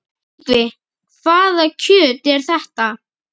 Ingvi, hvaða kjöt er þetta?